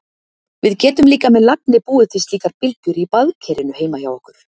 Við getum líka með lagni búið til slíkar bylgjur í baðkerinu heima hjá okkur.